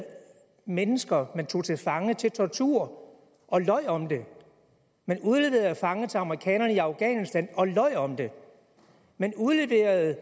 mennesker man tog til fange til tortur og løj om det man udleverede fanger til amerikanerne i afghanistan og løj om det man udleverede